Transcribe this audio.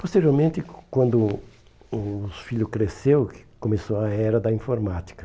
Posteriormente, quando os filho cresceu, que começou a era da informática.